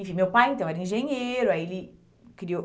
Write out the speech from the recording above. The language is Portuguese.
Enfim, meu pai então era engenheiro, aí ele criou...